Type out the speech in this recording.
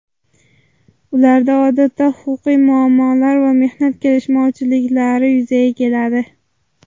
Ularda odatda huquqiy muammolar va mehnat kelishmovchiliklari yuzaga keladi.